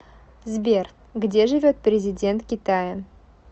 сбер где живет президент китая